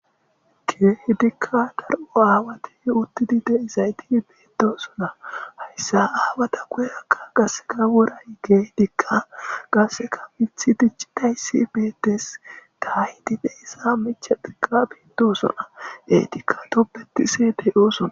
kieh dikka dar7o aawati uttidi deizayti beedosona hayssa aawata goyakka gasseka woray gey dikka gasseka mithi dicci dayssi beettes daahi dide issa michadika beitdosona e dikka topbetisee deyoosona